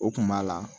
O kun b'a la